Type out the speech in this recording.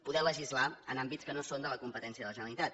poder legislar en àmbits que no són de la competència de la generalitat